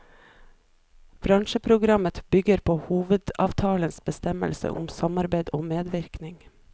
Bransjeprogrammet bygger på hovedavtalens bestemmelser om samarbeide og medvirkning.